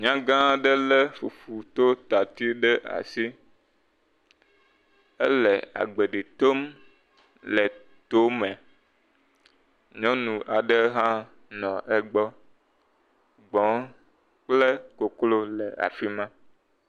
Nyaŋgã aɖe lé fufutotati ɖe asi, ele agbeɖi tom le to me, nyɔnu aɖe hã nɔ egbɔ, gbɔ̃ kple koklo le afi ma.